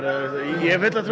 ég hef fulla trú á